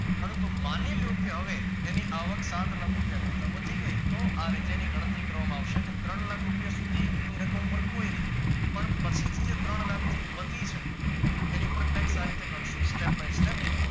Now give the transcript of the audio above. પરંતુ માની લ્યો કે હવે એની આવક સાત લાખ કરતા વધી ગયા છે તો આ રીતેની ગણતરી કરવામાં આવશે કે ત્રણ લાખ રૂપિયા સુધી એમની રકમ ઉપર કોઈ ની પણ પછી થી જે ત્રણ લાખ થી લાધી છે જેની પર tax આ રીતે ગણશું step by step